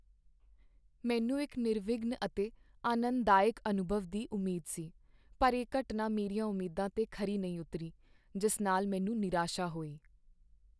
ਮੈਨੂੰ ਇੱਕ ਨਿਰਵਿਘਨ ਅਤੇ ਆਨੰਦਦਾਇਕ ਅਨੁਭਵ ਦੀ ਉਮੀਦ ਸੀ, ਪਰ ਇਹ ਘਟਨਾ ਮੇਰੀਆਂ ਉਮੀਦਾਂ 'ਤੇ ਖਰੀ ਨਹੀਂ ਉਤਰੀ, ਜਿਸ ਨਾਲ ਮੈਨੂੰ ਨਿਰਾਸ਼ਾ ਹੋਈ।